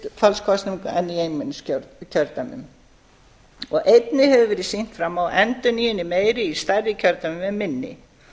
er í hlutfallskosningum en í einmenningskjördæmum einnig hefur verið sýnt fram á að endurnýjun er meiri í stærri kjördæmum en minni